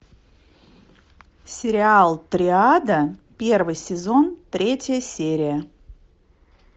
сериал триада первый сезон третья серия